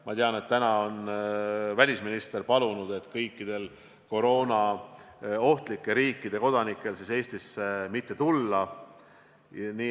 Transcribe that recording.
Ma tean, et täna on välisminister palunud kõikidel koroonaohtlike riikide kodanikel Eestisse mitte tulla.